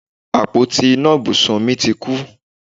Àpótí iná ibùsùn mi ti kú